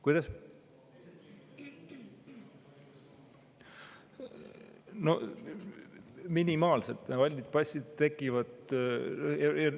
Kuidas need tekivad?